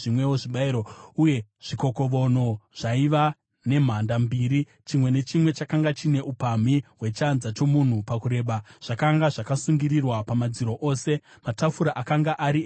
Uye zvikokovono zvaiva nemhanda mbiri, chimwe nechimwe chakanga chine upamhi hwechanza chomunhu pakureba, zvakanga zvakasungirirwa pamadziro ose. Matafura akanga ari enyama yezvipiriso.